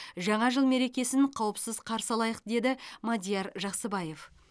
жаңа жыл мерекесін қауіпсіз қарсы алайық деді мадияр жақсыбаев